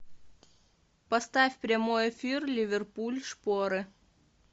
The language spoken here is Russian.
поставь прямой эфир ливерпуль шпоры